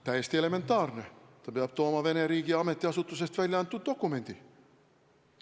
Täiesti elementaarne: peab tooma Vene riigi ametiasutuses välja antud dokumendi.